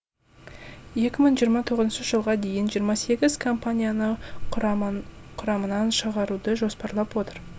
екі мың жиырма тоғызыншы жылға дейін жиырма сегіз компанияны құрамынан шығаруды жоспарлап отыр